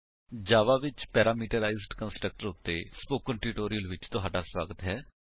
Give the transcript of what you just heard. ਜਾਵਾ ਵਿੱਚ parameterised constructor ਉੱਤੇ spoken tutorial ਵਿੱਚ ਤੁਹਾਡਾ ਸਵਾਗਤ ਹੈ